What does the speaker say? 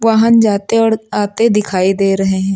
वाहन जाते और आते दिखाई दे रहे हैं।